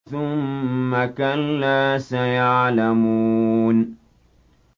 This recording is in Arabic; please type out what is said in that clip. ثُمَّ كَلَّا سَيَعْلَمُونَ